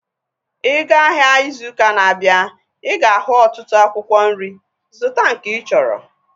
Ị ga-ahịa ịzụ ụkaa na-abịa ị ga-ahu ọtụtụ akwụkwọ nri, zụta nke ịchọrọ